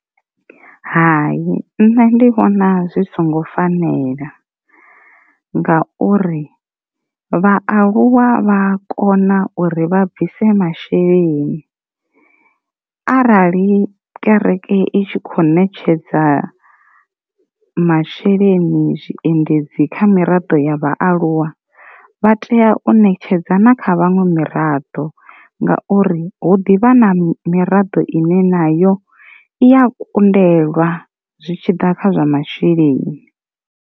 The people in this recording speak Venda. Hayi nṋe ndi vhona zwi songo fanela nga uri, vhaaluwa vha kona uri vha bvise masheleni arali kereke i tshi kho ṋetshedza masheleni zwi endedzi kha miraḓo ya vhaaluwa vha tea u ṋetshedza na kha vhaṅwe miraḓo ngauri, hu ḓivha na miraḓo ine nayo i ya kundelwa zwitshiḓa kha zwa masheleni.